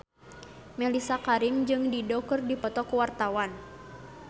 Mellisa Karim jeung Dido keur dipoto ku wartawan